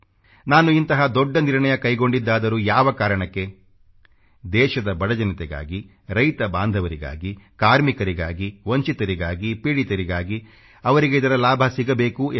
ನಾನು ಇಂತಹ ದೊಡ್ಡ ನಿರ್ಣಯ ಕೈಗೊಂಡಿದ್ದಾದರೂ ಯಾವ ಕಾರಣಕ್ಕೆ ದೇಶದ ಬಡ ಜನತೆಗಾಗಿ ರೈತಬಾಂಧವರಿಗಾಗಿ ಕಾರ್ಮಿಕರಿಗಾಗಿ ವಂಚಿತರಿಗಾಗಿ ಪೀಡಿತರಿಗಾಗಿ ಅವರಿಗೆ ಇದರ ಲಾಭ ಸಿಗಬೇಕು ಎಂದು